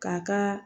K'a kaa